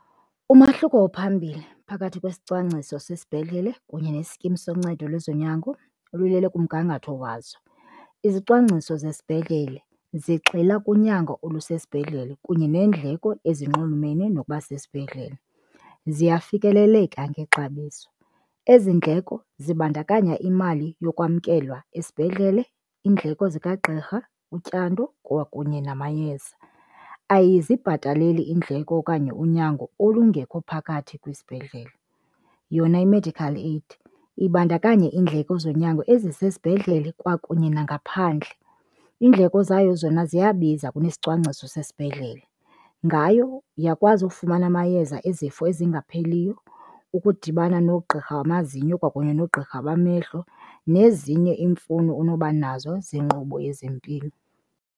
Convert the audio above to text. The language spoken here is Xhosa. Umahluko ophambili phakathi kwesicwangciso sesibhedlele kunye nesikimu soncedo lwezonyango lulele kumgangatho wazo. Izicwangciso zesibhedlele zigxila kunyango olusesibhedlele kunye neendleko ezinxulumene nokuba sesibhedlele, ziyafikeleleka ngexabiso. Ezi ndleko zibandakanya imali yokwamkelwa esibhedlele, iindleko zikagqirha, utyando kwakunye namayeza, ayizibhataleli iindleko okanye unyango olungekho phakathi kwisibhedlele. Yona i-medical aid ibandakanya iindleko zonyango ezisesibhedlele kwakunye nangaphandle. Iindleko zayo zona ziyabiza kunesicwangciso sesibhedlele, ngayo uyakwazi ufumana amayeza ezifo ezingapheliyo, ukudibana nogqirha wamazinyo kwakunye noogqirha bamehlo nezinye iimfuno onoba nazo zenkqubo yezempilo.